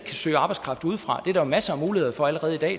søge arbejdskraft udefra det er der jo masser af muligheder for allerede i dag